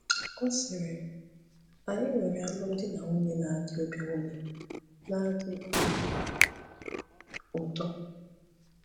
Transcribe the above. Ọ sịrị, “Anyị nwere alụmdi na nwunye na-adị obi nwunye na-adị obi ụtọ.